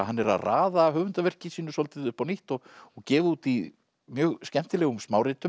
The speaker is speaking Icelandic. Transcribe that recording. hann er að raða höfundarverki sínu svolítið upp á nýtt og og gefa út í mjög skemmtilegum